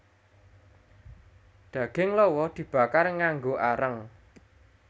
Daging lawa dibakar nganggo areng